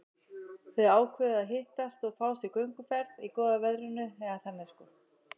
Þau ákváðu að hittast og fá sér gönguferð í góða veðrinu, eða þannig sko.